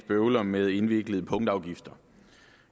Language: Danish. bøvler med indviklede punktafgifter